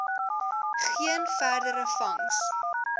geen verdere vangs